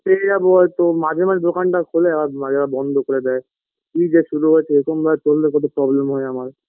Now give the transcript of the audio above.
পেয়ে যাবো হয়তো মাঝে মাঝে দোকানটা খোলে আবার মাঝে মাঝে দোকানটা বন্ধ করে দেয় কি যে শুরু হয়েছে এরকম ভাবে করলে কত problem হয় আমার